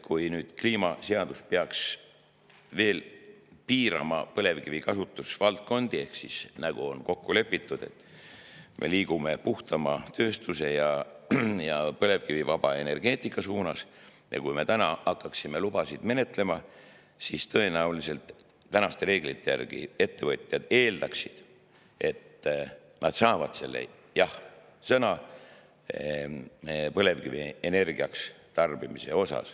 Kui nüüd kliimaseadus peaks veel piirama põlevkivi kasutusvaldkondi – nagu on kokku lepitud, me liigume puhtama tööstuse ja põlevkivivaba energeetika poole – ja kui me hakkaksime nüüd lubasid menetlema, siis tõenäoliselt praeguste reeglite järgi ettevõtjad eeldaksid, et nad saavad jah‑sõna põlevkivi kasutamiseks.